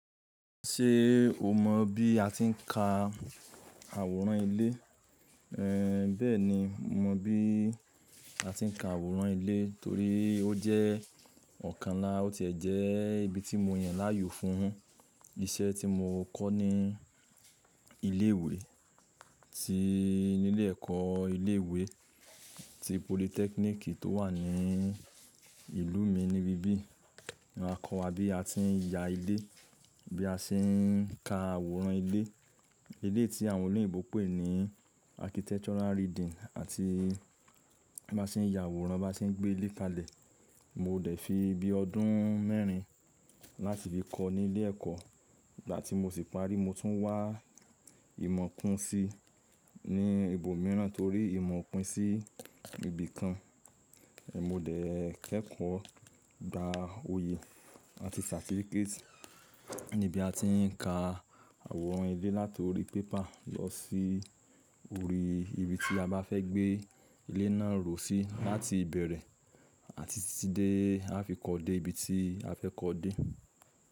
Ṣé o mọ̀ bí a ti ń ka àwòrán ilé? Ehn, bẹ́ẹ̀ni, mo mọ̀ bí a ti ń ka àwòrán ilé torí ó jẹ́ òkan, ó tiẹ̀ jẹ́ ibi ti mo yàn láàyò fún isẹ́ tí mo kọ́ ní ilé ìwé ti ilé èkọ́ ilé ìwé ti polytechnic tó wà ní ìlú mi ní ibí yìí. Wọn kọ́ wa bí a ti ń ya ilé, bí a ṣe ń ka àwòrán ilé. Ilé tí àwọn olè ìbò pè ní architectural reading àti bá ṣe ń ya àwòrán bá ṣe ń gbé ilé kalẹ̀. Mo dẹ̀ fi bíi ọdún mẹ́rin láti fi kọ́ọ ní ilé ẹ̀kọ́ ìgbà tí mo ṣì parí mo tún wá ìmọ̀ kun si ní ibo míìràn torí ìmọ̀ kò pin sí ibì kan. Ehn, mo dẹ̀ kẹ́kọ̀ọ́ gba oyè àti certificate níbi a ti ń ka àwòrán ilé láti orí pépà lọ sí orí ibi tí a bá fẹ́ gbé ilé náà rò si láti ìbẹ̀rẹ̀ àti títí dé a fi kọ́ dé ibi tí a fẹ́ kọ dé.